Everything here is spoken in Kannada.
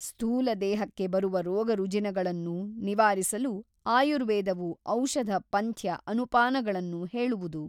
ಸ್ಥೂಲದೇಹಕ್ಕೆ ಬರುವ ರೋಗರುಜಿನಗಳನ್ನು ನಿವಾರಿಸಲು ಆಯುರ್ವೇದವು ಔಷಧ ಪಂಥ್ಯ ಅನುಪಾನಗಳನ್ನು ಹೇಳುವುದು.